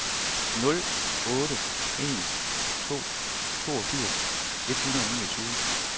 nul otte en to toogfirs et hundrede og niogtyve